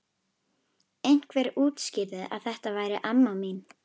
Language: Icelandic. Einhver útskýrði að þetta væri amma mín.